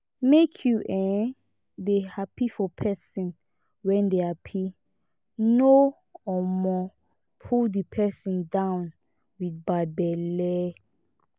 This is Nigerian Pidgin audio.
make you um dey happy for person wey dey happy no um pull di person down with bad belle